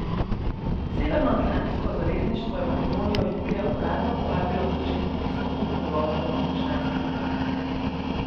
Severnoatlantsko zavezništvo je Makedonijo julija uradno povabilo k začetku pristopnih pogovorov o članstvu v Natu.